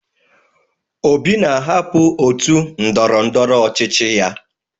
Obi na-ahapụ ótù ndọrọndọrọ ọchịchị ya.